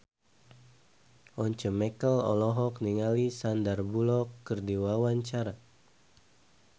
Once Mekel olohok ningali Sandar Bullock keur diwawancara